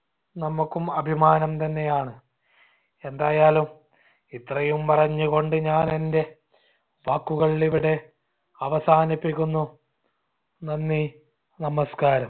നമ്മുക്കും അഭിമാനം തന്നെയാണ്. എന്തായാലും ഇത്രയും പറഞ്ഞുകൊണ്ട് ഞാൻ എന്റെ വാക്കുകൾ ഇവിടെ അവസാനിപ്പിക്കുന്നു. നന്ദി. നമസ്കാരം.